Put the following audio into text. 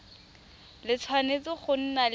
le tshwanetse go nna le